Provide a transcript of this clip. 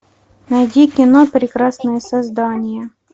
найди кино прекрасное создание